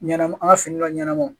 Ɲanamu an ka finila ɲɛnama wo